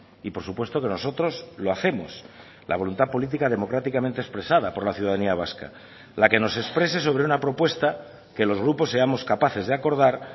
y por supuesto que nosotros lo hacemos la voluntad política democráticamente expresada por la ciudadanía vasca la que nos exprese sobre una propuesta que los grupos seamos capaces de acordar